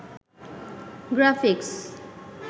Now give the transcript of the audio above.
graphics